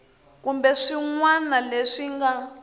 kumbe swin wana leswi nga